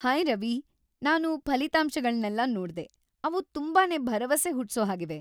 Hi Ravi, ನಾನು ಫಲಿತಾಂಶಗಳ್ನೆಲ್ಲ ನೋಡ್ದೆ, ಅವು ತುಂಬಾನೇ ಭರವಸೆ ಹುಟ್ಸೋಹಾಗಿವೆ.